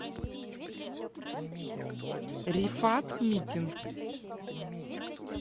рифат митин